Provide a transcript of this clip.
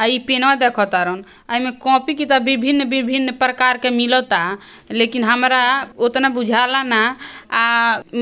अ ई पेन्वा देखतारन अ ई में कॉपी किताब विभिन्न-विभिन्न प्रकार के मिलता लेकिन हमरा ओतना बुझाला ना आ